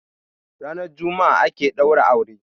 ranar Juma'a ake daura aure